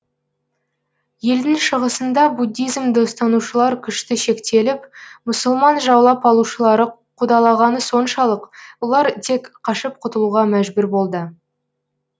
елдің шығысында буддизмді ұстанушылар күшті шектеліп мұсылман жаулап алушылары қудалағаны соншалық олар тек қашып құтылуға мәжбүр болды